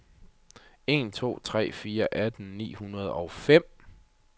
en to tre fire atten ni hundrede og fem